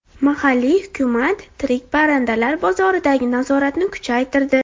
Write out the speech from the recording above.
Mahalliy hukumat tirik parrandalar bozoridagi nazoratni kuchaytirdi.